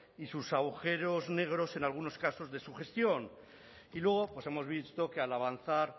y sus agujeros negros en algunos casos de su gestión y luego hemos visto que al avanzar